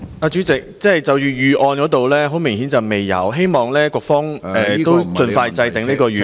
主席，很明顯，政府並未有預案，我希望局方盡快制訂預案。